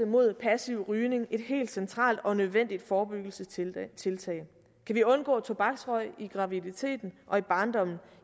mod passiv rygning et helt centralt og nødvendigt forebyggelsestiltag kan vi undgå tobaksrøg under graviditeten og i barndommen